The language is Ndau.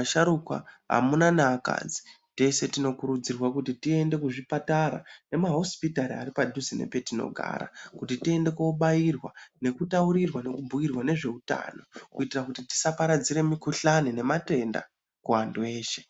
asharukwa, amuna neakadzi teshe tinokurudzirwa kuti tiende kuzvipatara nemahosipitari ari padhuze nepetinogara kuti tiende kobairwa nekutaurirwa nekibhuyirwa nezveutano kuitira kuti tiaaparadzira mikhuhlane nematenda kuantu eshe.